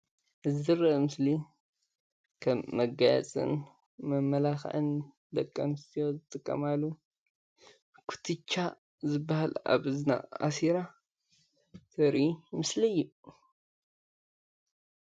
እዚ ዝረአ ምስሊ ከም መጋየፅን መመላኪዒን ደቂ ኣነስትዮ ዝጥቀማሉ ኩትቻ ዝባሃል ኣብ እዝና ኣሲራ ዘርኢ ምስሊ እዩ፡፡